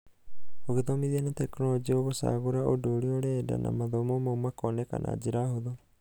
ũgĩthomithia na tekinorojĩ ũgũcagũra ũndũ ũria ũrenda na mathomo mau makoneka na njĩra hũthũ.